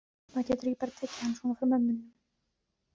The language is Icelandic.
Maður getur ekki bara tekið hann svona frá mömmunni.